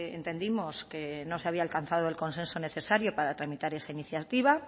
entendimos que no se había alcanzado el consenso necesario para tramitar esa iniciativa